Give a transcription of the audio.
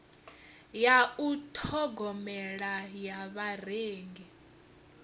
ya u ṱhogomela ya vharengi